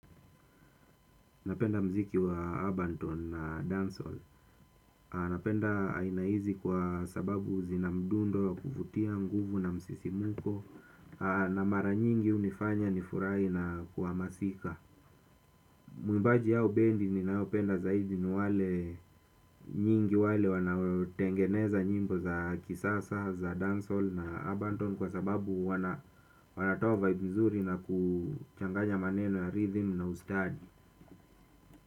Napenda mziki wa urban tone na dancehall. Napenda aina hizi kwa sababu zina mdundo wa kuvutia nguvu na msisimuko na mara nyingi hunifanya nifurahi na kuhamasika. Mwimbaji au bendi ninayopenda zaidi ni wale nyingi wale wanaotengeneza nyimbo za kisasa za dancehall na urban tone kwa sababu wanatoa vibe mzuri na kuchanganya maneno ya rhythm na ustadi.